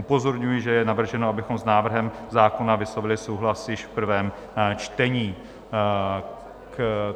Upozorňuji, že je navrženo, abychom s návrhem zákona vyslovili souhlas již v prvém čtení.